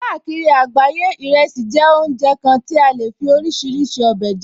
Káàkiri àgbáyé, ìrẹsì jẹ́ oúnjẹ kan ti a lè fí oríṣiríṣi ọbẹ̀ jẹ